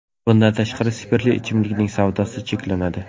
Bundan tashqari, spirtli ichimlikning savdosi cheklanadi.